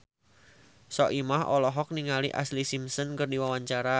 Soimah olohok ningali Ashlee Simpson keur diwawancara